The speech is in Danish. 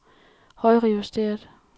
højrejusteret